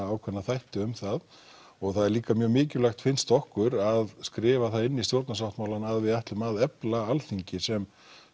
ákveðna þætti um það og það er líka mikilvægt finnst okkur að skrifa það inn í stjórnarsáttmálann að við ætlum að efla Alþingi sem